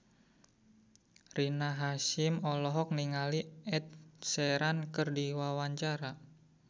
Rina Hasyim olohok ningali Ed Sheeran keur diwawancara